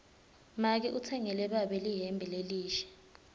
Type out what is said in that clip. make utsengele babe lihembe lelisha